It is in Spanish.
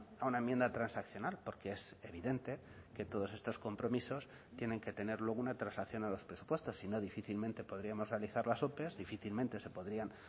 a una enmienda transaccional porque es evidente que todos estos compromisos tienen que tener luego una transacción a los presupuestos si no difícilmente podríamos realizar las ope difícilmente se podrían